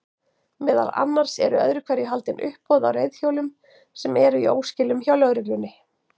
Meðal annars eru öðru hverju haldin uppboð á reiðhjólum sem eru í óskilum hjá lögreglunni.